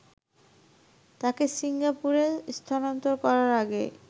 তাকে সিঙ্গাপুরে স্থানান্তর করার আগে